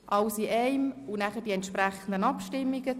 Im Anschluss folgen die entsprechenden Abstimmungen.